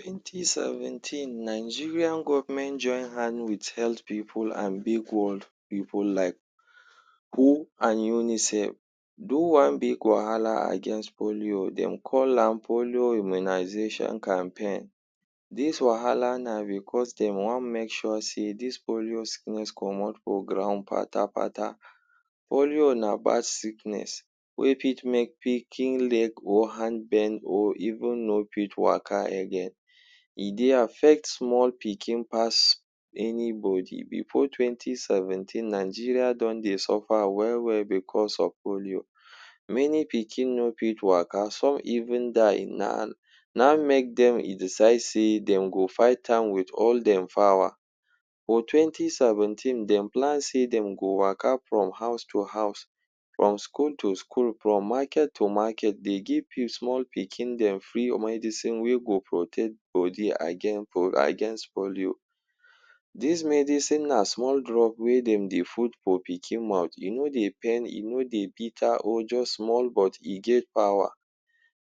Twenty seventeen, Nigerian government join hand with health pipu an big world pipu like WHO and UNICEF do one big wahala against polio. Dem call am Polio Immunisation Campaign. Dis wahala na becos de wan make sure sey dis polio sickness comot for ground patapata. Polio na bad sickness wey fit make pikin leg, or hand bend or even no fit waka again. E dey affect small pikin pass anybody. Before twenty seventeen, Nigeria don dey suffer well-well becos of polio. Many pikin no fit waka. Some even die. Na na ein make dem decide sey dem go fight am with all dem power. For twenty seventeen, dem plan sey dem go waka from house to house, from school to school, from market to market dey give small pikin dem free medicine wey go protect body against against polio. Dis medicine na small drug wey dem dey put for pikin mouth. E no dey pain, e no dey bitter, or juz small but e get power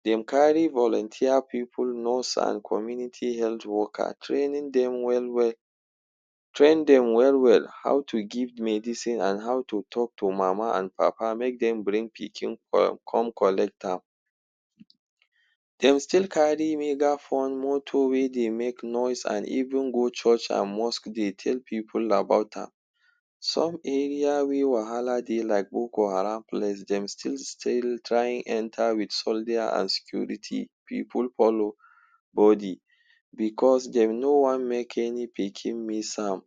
Dem carry volunteer pipu, nurse an community health worker, training dem well-well. Train dem well-well how to give medicine an how to talk to mama an papa make dem bring pikin come come collect am. Dem still carry megaphone, motor wey dey make noise an even go church and mosque dey tell pipu about am. Some area wey wahala dey like Boko Haram place, dem still still try enter with soldier an security pipu follow body becos dem no wan make any pikin miss am.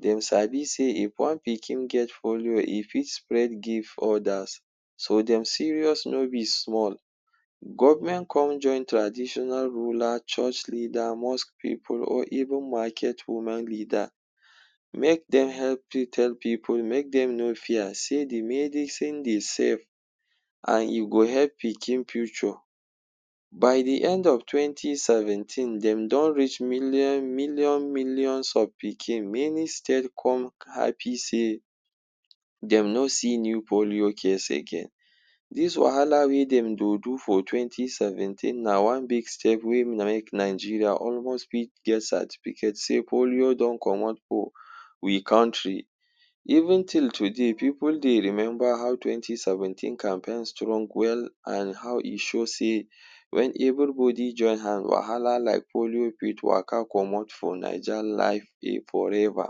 Dem sabi sey if one pikin get polio, e fit spread give others. So, dem serious no be small. Government con join traditional ruler, church leader, mosque pipu, or even market women leader make dem help fit tell pipu make dem no fear sey the medicine dey safe, an e go help pikin future. By the end of twenty seventeen, dem don reach million million millions of pikin. Many state con happy sey dem no see new polio case again. Dis wahala wey dem dey do for twenty seventeen na one big step wey make Nigeria almost fit get certificate sey polio don comot for we country. Even till today, pipu dey remember how twenty seventeen campaign strong well an how e show sey wen everybody join hand, wahala like polio fit waka comot for Naija life forever.